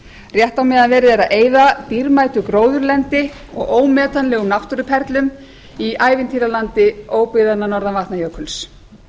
rétt á meðan verið er að eyða dýrmætu gróðurlendi og ómetanlegum náttúruperlum í ævintýralandi óbyggðanna norðan vatnajökuls